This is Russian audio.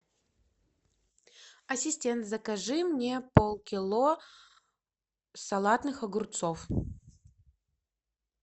ассистент закажи мне полкило салатных огурцов